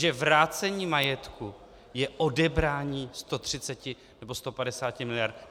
Že vrácení majetku je odebrání 130 nebo 150 miliard.